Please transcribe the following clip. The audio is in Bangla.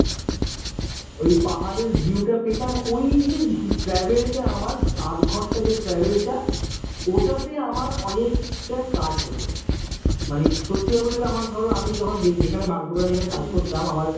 ওই পাহাড়ের view টা পেতাম ওই যে travel টা আমার আধঘন্টা যে travel টা ওটাতে আমার অনেকটা কাজ হতো মানে সত্যি কথা বলতে গেলে আমার ধরো আমি যখন যেখানে বাগডোবরা যেখানে কাজ করতাম আমার